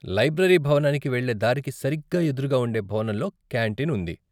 Library భవనానికి వెళ్ళే దారికి సరిగ్గా ఎదురుగా ఉండే భవనంలో కాంటీన్ ఉంది.